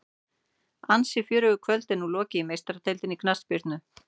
Ansi fjörugu kvöldi er nú lokið í Meistaradeildinni í knattspyrnu.